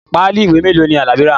Páálí ìwé mélòó ni Alabi rà?